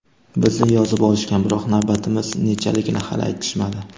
Bizni yozib olishgan, biroq navbatimiz nechaligini hali aytishmadi.